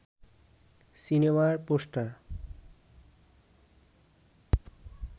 সিনেমার পোষ্টার